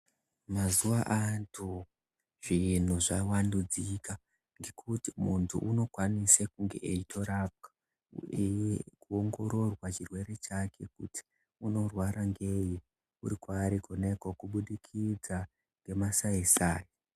Mazuva ano zvintu zvavandudzika ngekuti muntu unokwanise kunge eitorapwa. Eiongororwa chirwere chake kuti unorwara ngei uri kwaari kona ikoko kubudikidza ngemasai-sai.